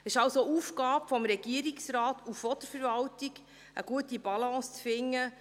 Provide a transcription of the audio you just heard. Es ist also Aufgabe des Regierungsrates und der Verwaltung, eine gute Balance zu finden.